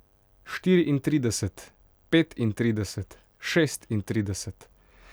Štiriintrideset, petintrideset, šestintrideset.